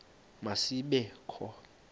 ma zibe kho